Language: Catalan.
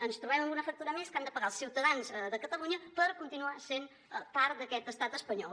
ens trobem amb una factura més que han de pagar els ciutadans de catalunya per continuar sent part d’aquest estat espanyol